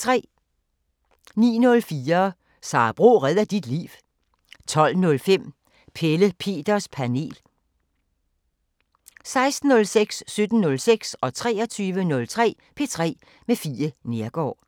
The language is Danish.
09:04: Sara Bro redder dit liv 12:05: Pelle Peters Panel 16:06: P3 med Fie Neergaard 17:06: P3 med Fie Neergaard 23:03: P3 med Fie Neergaard